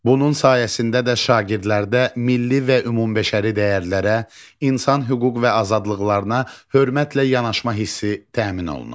Bunun sayəsində də şagirdlərdə milli və ümumbəşəri dəyərlərə, insan hüquq və azadlıqlarına hörmətlə yanaşma hissi təmin olunur.